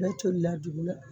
ale la dugu la.